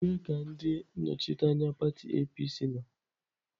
Ebee ka ndị nnọchiteanya pati APC nọ?